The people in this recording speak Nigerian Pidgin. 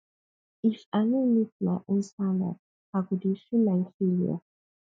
if i no meet my own standard i go dey feel like failure